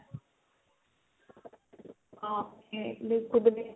ਹਾਂ ਆਪਣੇ ਦੇਖੋ